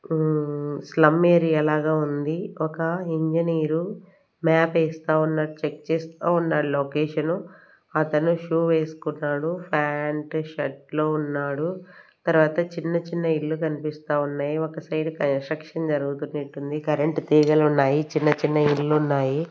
ఉమ్ slum area లాగా ఉంది ఒక ఇంజనీరు మ్యాప్ వేస్తా ఉన్నాడు చెక్ చేస్తా ఉన్నాడు లొకేషన్ అతను షూ వేసుకున్నాడు ఫ్యాంట్ షర్ట్ లో ఉన్నాడు తర్వాత చిన్న చిన్న ఇల్లు కనిపిస్తా ఉన్నాయి ఒక సైడ్ కన్స్ట్రక్షన్ జరుగుతున్నట్టుంది కరెంట్ తీగలు ఉన్నాయి చిన్న చిన్న ఇల్లు ఉన్నాయి.